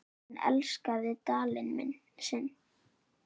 Hún elskaði Dalinn sinn.